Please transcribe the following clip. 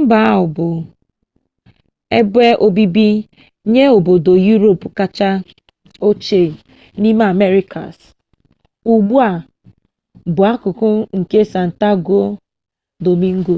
mba ahụ bụ ebe obibi nye obodo europe kacha ochie n'ime americas ugbu a bụ akụkụ nke santo domingo